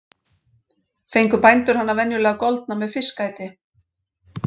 Fengu bændur hana venjulega goldna með fiskæti.